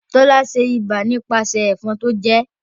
Tola ṣe iba nipasẹ ẹ̀fọn tó jẹẹ́